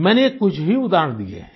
मैंने ये कुछ ही उदाहरण दिये हैं